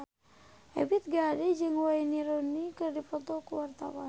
Ebith G. Ade jeung Wayne Rooney keur dipoto ku wartawan